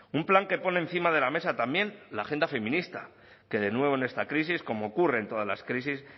un plan que pone encima de la mesa también la agenda feminista que de nuevo en esta crisis como ocurre en todas las crisis